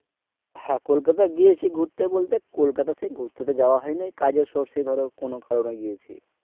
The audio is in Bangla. হ্যাঁ কলকাতা গিয়েছি ঘুরতে বলতে কলকাতা তো সেই ঘুরতে তো যাওয়া হয়নি কাজের source এ ধরো কোন কারন এ গিয়েছি।